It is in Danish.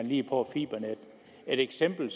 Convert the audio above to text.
lige får fibernet et eksempel